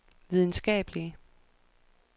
videnskabelige